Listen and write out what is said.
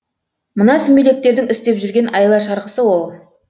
мына сүмелектердің істеп жүрген айла шарғысы ол